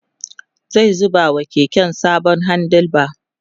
zai zuba wa keken sabon handle bar